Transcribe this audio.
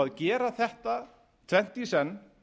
að gera þetta tvennt í senn